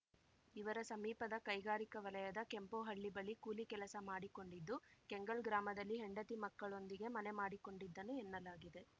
ಇವರ ಸಮೀಪದ ಕೈಗಾರಿಕಾ ವಲಯದ ಕೆಂಪೋಹಳ್ಳಿ ಬಳಿ ಕೂಲಿ ಕೆಲಸ ಮಾಡಿಕೊಂಡಿದ್ದು ಕೆಂಗಲ್‌ ಗ್ರಾಮದಲ್ಲಿ ಹೆಂಡತಿ ಮಕ್ಕಳೊಂದಿಗೆ ಮನೆ ಮಾಡಿಕೊಂಡಿದ್ದನು ಎನ್ನಲಾಗಿದೆ